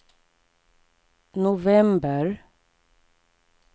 november